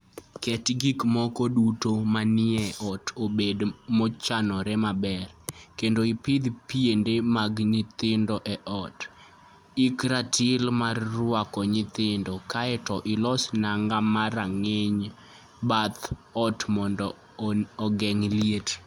Ket gik moko duto manie ot obed mochanore maber, kendo ipedh piende mag nyithindo e ot, ik ratil mar rwako nyithindo, kae to ilos nanga mag rageng' e bath ot mondo ogeng' liet.